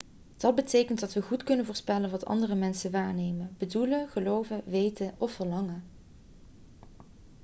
dat betekent dat we goed kunnen voorspellen wat andere mensen waarnemen bedoelen geloven weten of verlangen